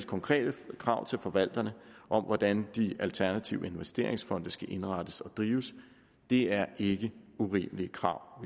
konkrete krav til forvalterne om hvordan de alternative investeringsfonde skal indrettes og drives det er ikke urimelige krav